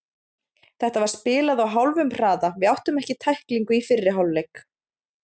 Þetta var spilað á hálfum hraða, við áttum ekki tæklingu í fyrri hálfleik.